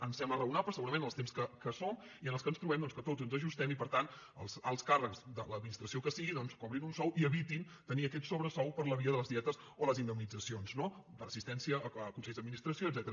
ens sembla raonable segurament en els temps que som i en què ens trobem doncs que tots ens ajustem i per tant els alts càrrecs de l’administració que sigui cobrin un sou i evitin tenir aquest sobresou per la via de les dietes o les indemnitzacions no per assistència a consells d’administració etcètera